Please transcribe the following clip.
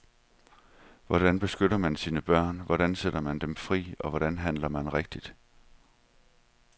Hvordan beskytter man sine børn, hvordan sætter man dem fri, og hvordan handler man rigtigt.